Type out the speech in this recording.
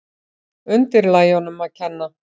Undirlægjunum að kenna.